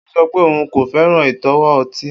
O sọ pe oun ko fẹran itọwo ọti